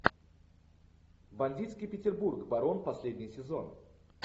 бандитский петербург барон последний сезон